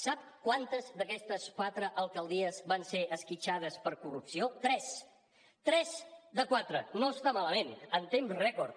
sap quantes d’aquestes quatre alcaldies van ser esquitxades per casos de corrupció tres tres de quatre no està malament en temps rècord